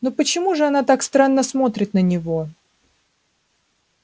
но почему же она так странно смотрит на него